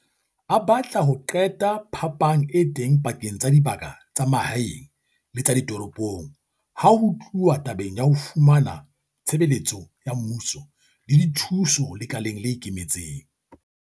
A batla ho qeta phapang e teng pakeng tsa dibaka tsa mahaeng le tsa ditoropong ha ho tluwa tabeng ya ho fumana ditshebeletso tsa mmuso le dithuso lekaleng le ikemetseng.